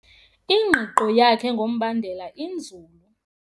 Ingqiqo yakhe ngombandela inzulu.